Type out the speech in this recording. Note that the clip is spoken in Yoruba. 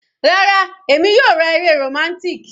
Rárá, èmi yóò ra eré romantic.